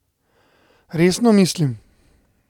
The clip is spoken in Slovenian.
Resno mislim.